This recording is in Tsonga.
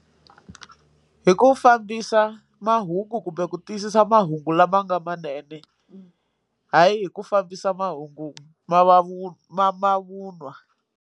Hi ku fambisa mahungu kumbe ku tiyisisa mahungu lama nga manene hayi hi ku fambisa mahungu ma mavun'wa.